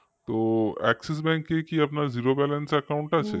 তো axisbank কি আপনার zerobalance র account আছে